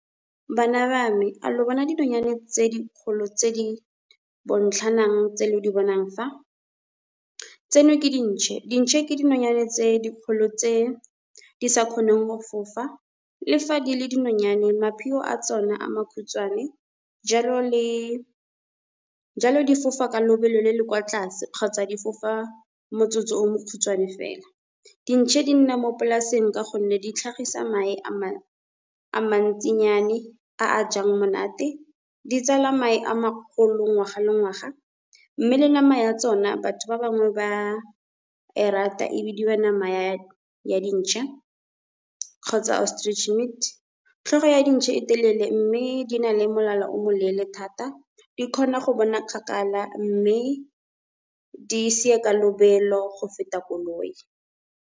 Bana ba me a lo bona dinonyane tse dikgolo tse di bontlhanang tse lo di bonang fa. Tseno ke dintšhe, dintšhe ke dinonyane tse dikgolo tse di sa kgoneng go fofa, lefa di le dinonyane mapheo a tsone a makhutshwane. Jalo di fofa ka lobelo le le kwa tlase kgotsa di fofa motsotso o mokhutswane fela. Dintšhe di nna mo polaseng ka gonne di tlhagisa mae a mantsinyane a a jang monate, ditsala mae a magolo ngwaga le ngwaga, mme le nama ya tsona batho ba bangwe ba e rata e bidiwa nama ya dintšha kgotsa ostrich meat. Tlhogo ya dintšhe e telele mme di na le molala o moleele thata, di kgona go bona kgakala mme di sia ka lobelo go feta koloi.